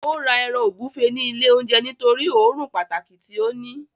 Ó ra ẹran ògúnfe ní ilé oúnjẹ nítorí òórùn pàtàkì tí ó ní